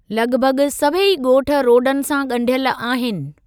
लॻभॻ सभई ॻोठ रोडनि सां ॻंढियल आहिनि।